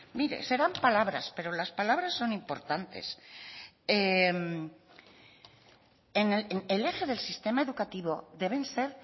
mire serán palabras pero las palabras son importantes el eje del sistema educativo deben ser